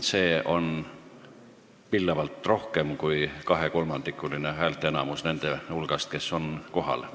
Seda on pillavalt rohkem kui kahekolmandikuline häälteenamus nende hulgast, kes on kohal.